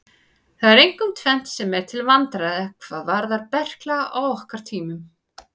Það er einkum tvennt sem er til vandræða hvað varðar berkla á okkar tímum.